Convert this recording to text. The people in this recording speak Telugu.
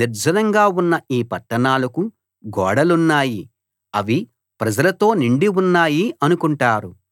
నిర్జనంగా ఉన్న ఈ పట్టణాలకు గోడలున్నాయి అవి ప్రజలతో నిండి ఉన్నాయి అనుకుంటారు